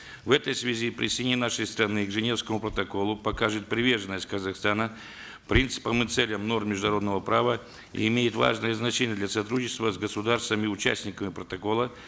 в этой связи присоединение нашей страны к женевскому протоколу покажет приверженность казахстана принципам и целям норм международного права и имеет важное значение для сотрудничества с государствами участниками протокола